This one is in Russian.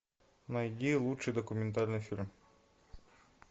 найди лучший документальный фильм